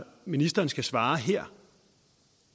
ministeren skal svare her